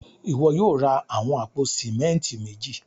Ìwọ yóò ra awọn apò símẹ̀ntì méjì.